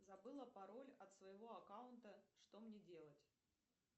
забыла пароль от своего аккаунта что мне делать